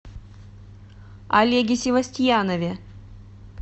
олеге севостьянове